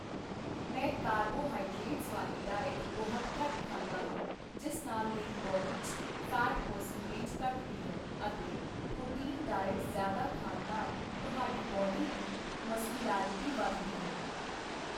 ਮੈਂ ਕਾਰਬੋਹਾਈਡਰੇਟਸ ਵਾਲੀ ਡਾਈਟ ਬਹੁਤ ਘੱਟ ਖਾਂਦਾ ਹਾਂ, ਜਿਸ ਨਾਲ ਮੇਰੀ ਬੌਡੀ 'ਚ ਫੈਟ ਪ੍ਰਸੈਂਟੇਜ ਘੱਟਦੀ ਹੈ ਅਤੇ ਪ੍ਰੋਟੀਨ ਡਾਈਟ ਜ਼ਿਆਦਾ ਖਾਣ ਨਾਲ ਤੁਹਾਡੀ ਬੌਡੀ ਦੀ ਮਸਕੁਲੈਰੀਟੀ ਵੱਧਦੀ ਹੈ